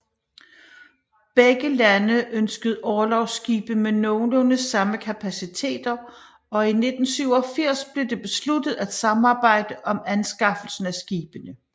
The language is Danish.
Begge lande ønskede orlogsskibe med nogenlunde samme kapaciteter og i 1987 blev det besluttet at samarbejde om anskaffelsen af skibene